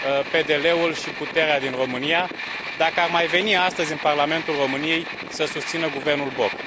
PDL ul și puterea din România, dacă ar mai veni astăzi în Parlamentul României să susțină guvernul Boc.